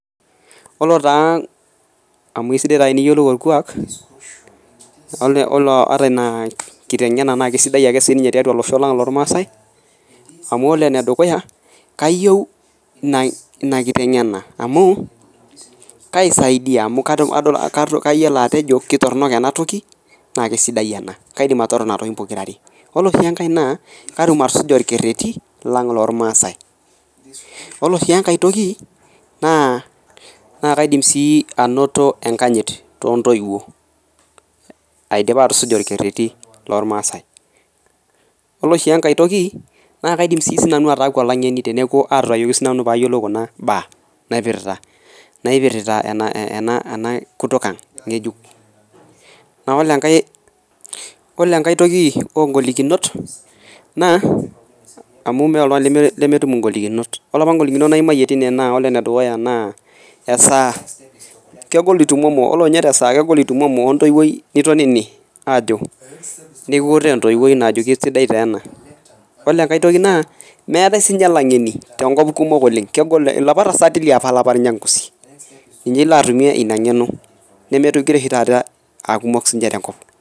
Ore taa amu esidai taa eniyiolou orkuak oilo ata inaa nkitengena kesidai ake sii ninye tiatua losho lang loolmaasai amu ore enedukuya, kayeu ina kitengena amu kaisaidia amu kayiolo atejo ketornok enatoki naa kesidai ana, kaidim atooro nena tokitin pokira are. Ore sii ninye enkae naa kaidim atusuja olkereti lang lolmaasai. Ore sii enkae toki naa kaidim sii enkanyit too ntoiwo aidipa atusuja olkereti lolmaasai. Ore sii enkae toki naa kaidim sii nani ataaku olaing'eni teneaku aitayoloki sii nanu peyie ayiolou kuna imbaa ena kutukang' ng'ejuk. Naalu ore enkae toki oongolikinot naa amu meeta oltungani lemetum ngolikinot. Ore apa ngolikinot naimaiye teine naa ore apa nedukuya naa esaa, kegol itumomo ore ninye te saa egol itumomo ontoiwoi nitonini aajo, nikiutaa entoiwoi ajoki esidai taa ena. Ore enkae toki naa meatae sii ninye laing'eni tenkop kumok oleng. Kego liapa tasati liapa lol nyangusi, ninye ilo atumie ina ig'eno nemeitoki re oshi taata aa kumok sii ninche tenkop.